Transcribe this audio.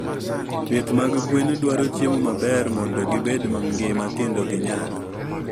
Pith mag gwen dwaro chiemo maber mondo gibed mangima kendo ginyag.